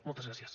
moltes gràcies